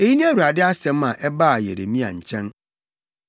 Eyi ne Awurade asɛm a ɛbaa Yeremia nkyɛn.